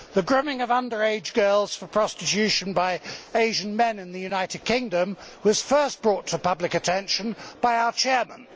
The grooming of under age girls for prostitution by Asian men in the United Kingdom was first brought to public attention by our chairman.